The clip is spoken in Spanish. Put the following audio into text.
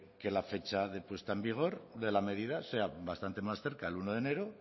que la fecha de puesta en vigor de la medida sea bastante más cerca el uno de enero